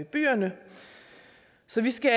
byerne så vi skal